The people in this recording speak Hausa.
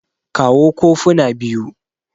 kawo kofuna biyu